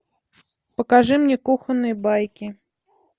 покажи мне кухонные байки